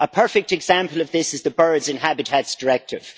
A perfect example of this is the Birds and Habitats Directive.